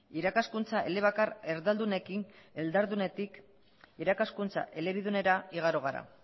irakaskuntza elebakar erdaldunetik irakaskuntza elebidunera igaro gara